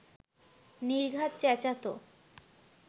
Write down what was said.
নির্ঘাত চেঁচাত